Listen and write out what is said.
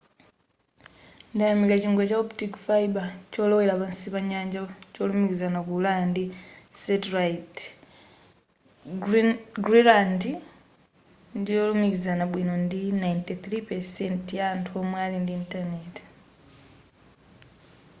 ndayamika chingwe cha optic fiber cholowera pansi pa nyanja cholumikiza ku ulaya ndi satellite greeland ndiyolumikizana bwino ndi 93% ya anthu omwe ali ndi intaneti